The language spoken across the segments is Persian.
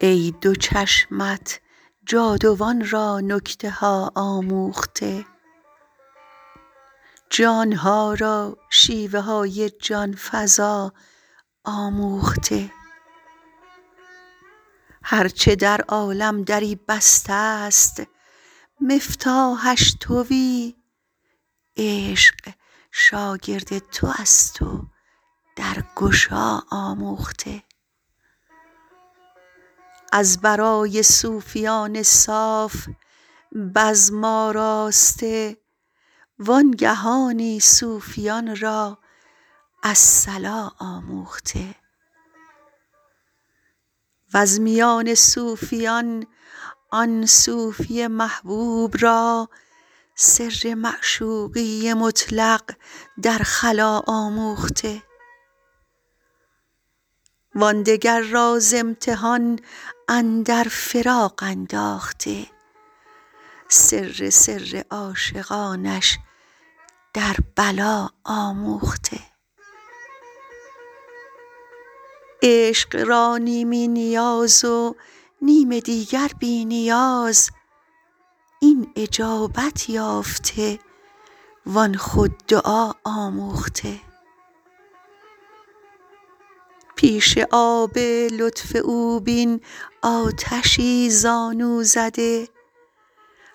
ای دو چشمت جاودان را نکته ها آموخته جان ها را شیوه های جان فزا آموخته هر چه در عالم دری بسته ست مفتاحش توی عشق شاگرد تو است و درگشا آموخته از برای صوفیان صاف بزم آراسته وانگهانی صوفیان را الصلا آموخته وز میان صوفیان آن صوفی محبوب را سر معشوقی مطلق در خلاء آموخته و آن دگر را ز امتحان اندر فراق انداخته سر سر عاشقانش در بلا آموخته عشق را نیمی نیاز و نیم دیگر بی نیاز این اجابت یافته و آن خود دعا آموخته پیش آب لطف او بین آتشی زانو زده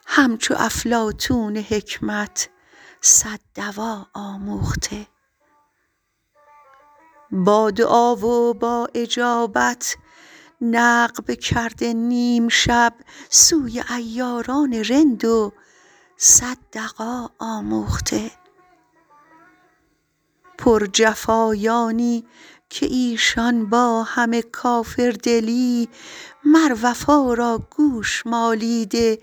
همچو افلاطون حکمت صد دوا آموخته با دعا و با اجابت نقب کرده نیم شب سوی عیاران رند و صد دغا آموخته پرجفایانی که ایشان با همه کافردلی مر وفا را گوش مالیده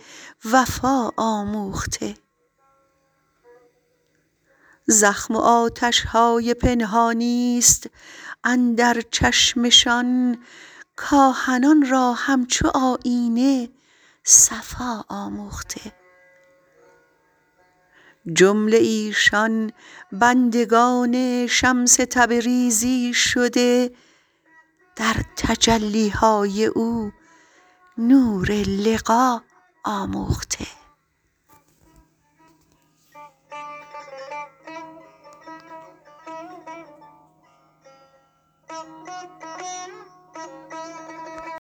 وفا آموخته زخم و آتش های پنهانی است اندر چشمشان کاهنان را همچو آیینه صفا آموخته جمله ایشان بندگان شمس تبریزی شده در تجلی های او نور لقا آموخته